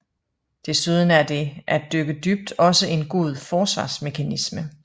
Desuden er det at dykke dybt også en god forsvarsmekanisme